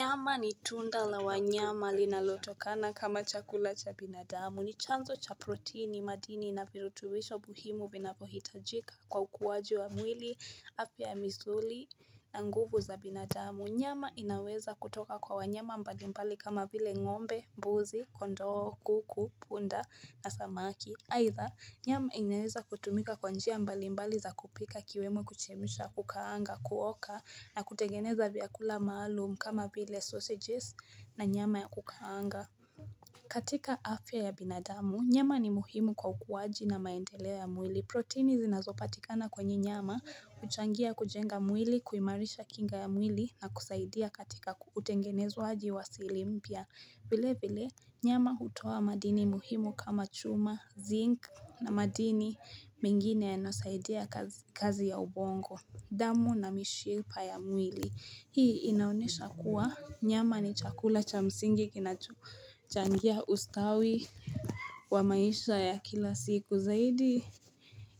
Nyama ni tunda la wanyama linalotokana kama chakula cha binadamu ni chanzo cha protini madini na virutubisho muhimu vinavyo hitajika kwa ukuwaji wa mwili afya ya misuli na nguvu za binadamu Nyama inaweza kutoka kwa wanyama mbalimbali kama vile ngombe, mbuzi, kondoko, kuku, punda na samaki aidha nyama inaweza kutumika kwa njia mbali mbali za kupika ikiwemo kuchemsha, kukaanga, kuoka na kutengeneza vyakula maalum kama vile sausages na nyama ya kukaanga. Katika afya ya binadamu, nyama ni muhimu kwa ukuwaji na maendeleo ya mwili. Protini zinazopatikana kwenye nyama, huchangia kujenga mwili, kuimarisha kinga ya mwili na kusaidia katika utengenezwaji wa sili mpya. Vile vile, nyama hutoa madini muhimu kama chuma, zinc na madini mengine yanasaidia kazi ya ubongo, damu na mishipa ya mwili. Hii inaonyesha kuwa nyama ni chakula cha msingi kinacho changia ustawi wa maisha ya kila siku zaidi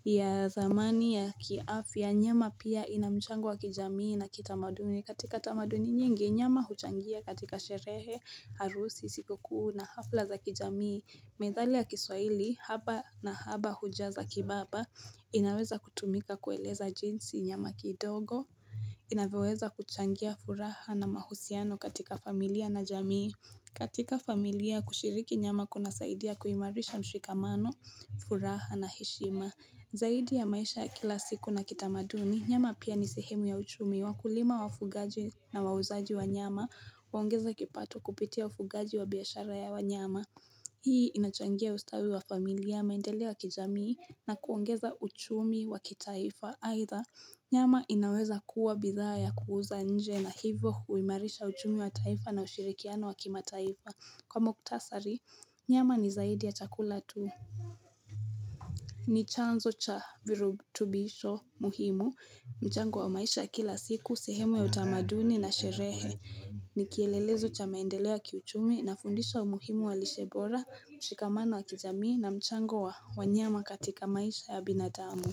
ya dhamani ya kiafya. Ya nyama pia ina mchango wa kijamii na kitamaduni. Katika tamaduni nyingi, nyama huchangia katika sherehe, harusi, sikukuu na hafla za kijamii. Methali ya kiswahili, haba na haba hujaza kibaba, inaweza kutumika kueleza jinsi nyama kidogo. Inavyoweza kuchangia furaha na mahusiano katika familia na jamii. Katika familia, kushiriki nyama kuna saidia kuimarisha mshikamano, furaha na heshima. Zaidi ya maisha ya kila siku na kitamaduni, nyama pia ni sehemu ya uchumi wakulima wafugaji na wauzaji wa nyama, huongeza kipato kupitia ufugaji wa biashara ya wanyama. Hii inachangia ustawi wa familia, maendeleo ya kijamii na kuongeza uchumi wa kitaifa. Aidha, nyama inaweza kuwa bidhaa ya kuuza nje na hivyo huimarisha uchumi wa taifa na ushirikiano wa kimataifa. Kwa mkutasari nyama ni zaidi ya chakula tu ni chanzo cha virutubisho muhimu mchango wa maisha kila siku sehemu ya utamaduni na sherehe ni kielelezo cha maendeleo ya kiuchumi ina fundisha umuhimu wa lishe bora mshikamano wa kijamii na mchango wa wanyama katika maisha ya binadamu.